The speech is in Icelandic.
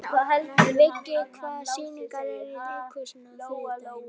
Viggi, hvaða sýningar eru í leikhúsinu á þriðjudaginn?